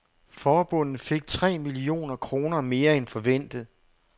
Forbundet fik tre millioner kroner mere end forventet.